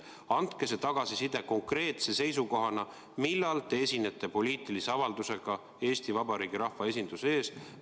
Andke see tagasiside konkreetse seisukohana, millal te esinete poliitilise avaldusega Eesti Vabariigi rahva esinduse ees.